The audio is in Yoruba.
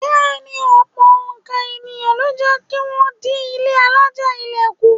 Bẹ́ẹ̀ ni, ọ̀pọ̀ òǹkà ènìyàn ló jẹ́ kí wọ́n dín ilé alájà-ilẹ̀ kù.